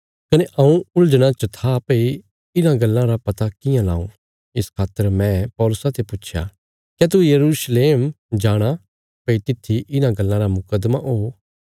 कने हऊँ उलझना च था भई इन्हां गल्लां रा पता कियां लाऊं इस खातर मैं पौलुसा ते पुच्छया क्या तू यरूशलेम जाणा भई तित्थी इन्हां गल्लां रा मुकद्दमा हो